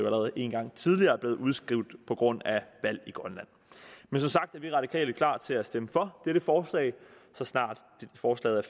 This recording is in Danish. allerede en gang tidligere er blevet udskudt på grund af valg i grønland men som sagt er vi radikale klar til at stemme for dette forslag så snart forslaget